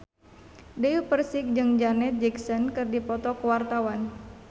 Dewi Persik jeung Janet Jackson keur dipoto ku wartawan